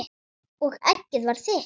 Og eggið var þitt!